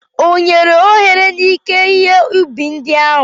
Ọ nyere ohere n'ike ihe ubi ndị ahụ?